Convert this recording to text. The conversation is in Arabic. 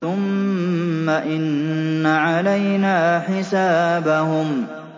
ثُمَّ إِنَّ عَلَيْنَا حِسَابَهُم